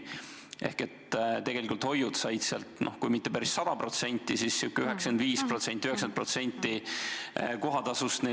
Ehk tegelikult on hoidudele tagatud kui mitte päris 100%, siis 95% või 90% kohatasust.